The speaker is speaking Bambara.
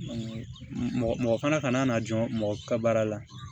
mɔgɔ kana n'a jɔ mɔgɔ ka baara la